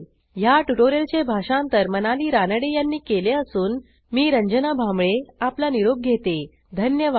ह्या ट्युटोरियलचे भाषांतर मनाली रानडे यांनी केले असून मी रंजना भांबळे आपला निरोप घेते160सहभागासाठी धन्यवाद